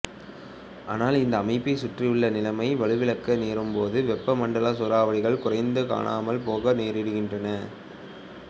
ஆனால் இந்த அமைப்பை சுற்றியுள்ள நிலைமை வலுவிழக்க நேரும் போது வெப்ப மண்டல சூறாவளிகள் குறைந்து காணாமல் போக நேரிடுகின்றன